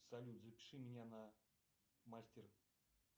салют запиши меня на мастер